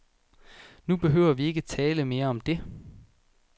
Nu behøver vi ikke tale mere om det.